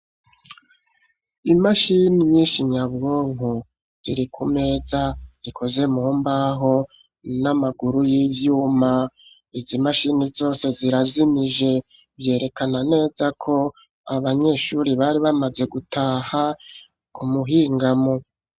Imashini nyinshi nyabwonko ziri ku meza ikoze mumbaho n'amaguru y'ivyuma, izi mashini zose zirazimije, vyerekana neza ko abanyeshuri bari bamaze gutaha ku muhingamo.